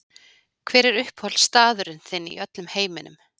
Hver er uppáhaldsstaður þinn í öllum heiminum?